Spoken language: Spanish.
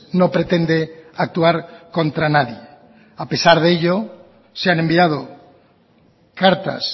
no pretende actuar contra nadie a pesar de ello se han enviado cartas